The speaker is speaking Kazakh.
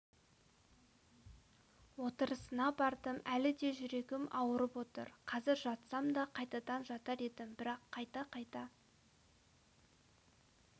отырысына бардым әлі де жүрегім ауырып отыр қазір жатсам да қайтадан жатар едім бірақ қайта-қайта